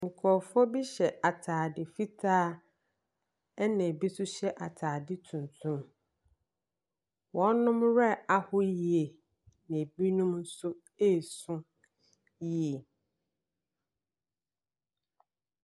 Nkurɔfoɔ bi hyɛ atade fitaa, ɛnna bi nso hyɛ atade tuntum. Wɔn werɛ aho yie, na ebinom nso resu yie.